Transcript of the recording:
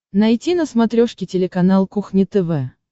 найти на смотрешке телеканал кухня тв